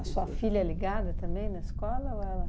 A sua filha é ligada também na escola ou ela?